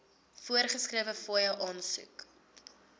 voorgeskrewe fooie aansoek